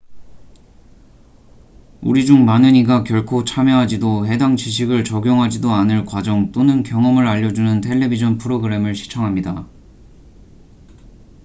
우리 중 많은 이가 결코 참여하지도 해당 지식을 적용하지도 않을 과정 또는 경험을 알려주는 텔레비전 프로그램을 시청합니다